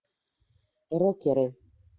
рокеры